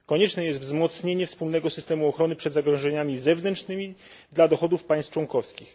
Konieczne jest wzmocnienie wspólnego systemu ochrony przed zagrożeniami zewnętrznymi dla dochodów państw członkowskich.